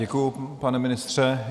Děkuji, pane ministře.